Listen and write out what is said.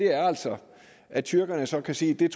er altså at tyrkerne så kan sige